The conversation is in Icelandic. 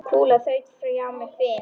Kúla þaut hjá með hvin.